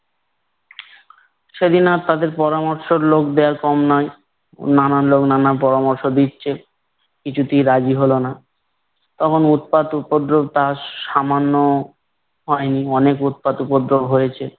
সেদিন আর তাদের পরামর্শ দেয়ার লোক কম নয়। নানান লোক নানান পরামর্শ দিচ্ছে। কিছুতেই রাজি হলো না। তখন উৎপাত উপদ্রব তা সামান্য হয়নি। অনেক অনেক উৎপাত উপদ্রব হয়েছে।